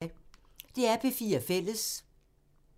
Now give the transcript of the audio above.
DR P4 Fælles